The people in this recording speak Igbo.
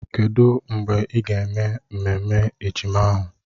Kedụ mgbe ị ga-eme ememme ejima ahụ?